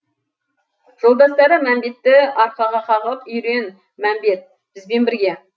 жолдастары мәмбетті арқаға қағып үйрен мәмбет бізбен бірге